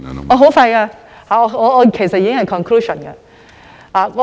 我很快便會說完，其實已經進入總結。